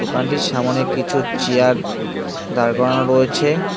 দোকানটির সামোনে কিছু চেয়ার দাঁড় করানো রয়েছে।